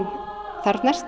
þarfnast